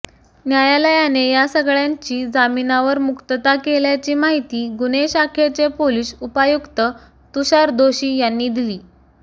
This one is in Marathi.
न्यायालयाने या सगळ्यांची जामीनावर मुक्तता केल्याची माहिती गुन्हे शाखेचे पोलीस उपायुक्त तुषार दोशी यांनी दिली